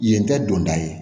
Yen tɛ don da ye